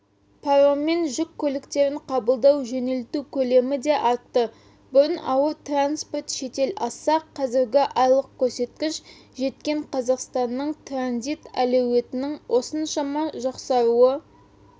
пароммен жүк көліктерін қабылдау-жөнелту көлемі де артты бұрын ауыр транспорт шетел асса қазіргі айлық көрсеткіш жеткен қазақстанның транзит әлеуетінің осыншама жақсаруы